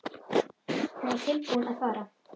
Hún var tilbúin að fara.